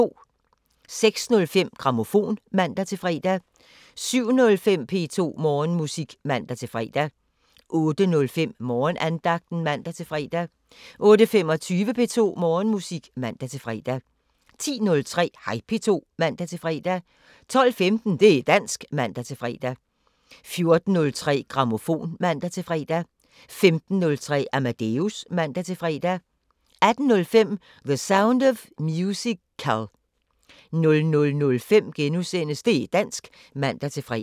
06:05: Grammofon (man-fre) 07:05: P2 Morgenmusik (man-fre) 08:05: Morgenandagten (man-fre) 08:25: P2 Morgenmusik (man-fre) 10:03: Hej P2 (man-fre) 12:15: Det´ dansk (man-fre) 14:03: Grammofon (man-fre) 15:03: Amadeus (man-fre) 18:05: The Sound of Musical 00:05: Det´ dansk *(man-fre)